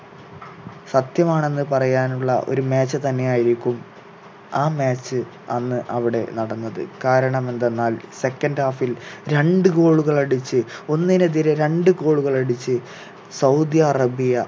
സത്യമാണെന്ന് പറയാനുള്ള ഒരു match തന്നെയായിരിക്കും ആ match അന്ന് അവിടെ നടന്നത് കാരണം എന്തെന്നാൽ second half ൽ രണ്ട് goal കൾ അടിച്ച് ഒന്നിനെതിരെ രണ്ട് goal കൾ അടിച്ച് സൗദി അറേബ്യ